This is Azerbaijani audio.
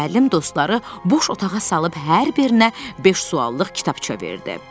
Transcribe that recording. Müəllim dostları boş otağa salıb hər birinə beş suallıq kitabça verdi.